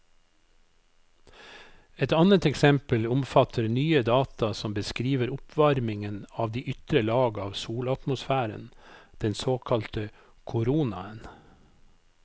Et annet eksempel omfatter nye data som beskriver oppvarmingen av de ytre lag av solatmosfæren, den såkalte koronaen.